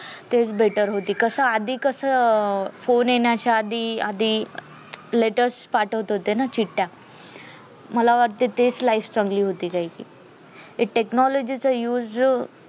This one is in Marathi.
तेच better होती कस अं आधी कस phone येण्याच्या आधी आधी letters पाठवत होते ना चिठ्या मला वाटतय ते life चांगली होती एकाएकी technology चा use